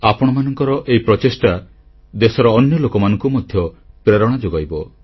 ଆପଣମାନଙ୍କର ଏହି ପ୍ରଚେଷ୍ଟା ଦେଶର ଅନ୍ୟ ଲୋକମାନଙ୍କୁ ମଧ୍ୟ ପ୍ରେରଣା ଯୋଗାଇବ